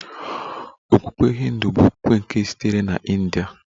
Okpukpe Hindu bụ okpukpe nke sitere na India